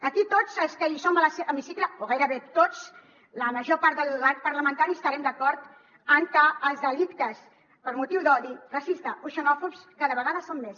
aquí tots els que som a l’hemicicle o gairebé tots la major part de l’arc parlamentari estarem d’acord en que els delictes per motius d’odi racista o xenòfob cada vegada són més